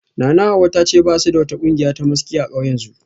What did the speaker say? Nanahawa ta ce ba su da wata kungiya ta maski a kauyensu